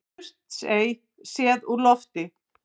Surtsey séð úr lofti.